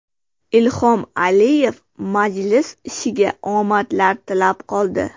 Ilhom Aliyev majlis ishiga omadlar tilab qoldi.